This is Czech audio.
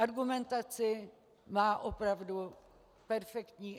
Argumentaci má opravdu perfektní.